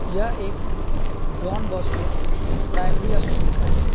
यह एक Don Bosco primary school का है।